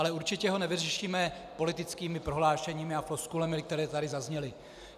Ale určitě ho nevyřešíme politickými prohlášeními a floskulemi, které tady zazněly.